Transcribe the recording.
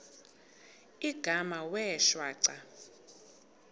igama wee shwaca